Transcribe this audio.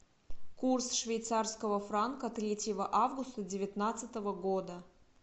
курс швейцарского франка третьего августа девятнадцатого года